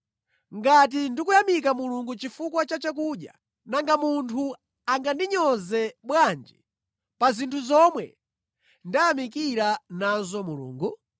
Ngati ndikuyamika Mulungu chifukwa cha chakudya, nanga munthu angandinyoze bwanji pa zinthu zomwe ndayamikira nazo Mulungu?